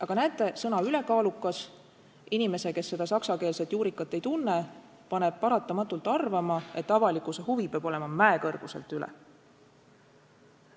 Aga näete, sõna "ülekaalukas" paneb inimese, kes saksa keelt hästi ei tunne, paratamatult arvama, et avalikkuse huvi peab olema mäekõrguselt üle.